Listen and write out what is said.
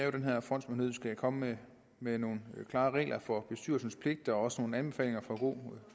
at den her fondsmyndighed skal komme med nogle klare regler for bestyrelsens pligter og også nogle anbefalinger for god